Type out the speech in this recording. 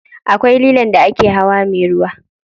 Akwai lilon da ake hawa me ruwa.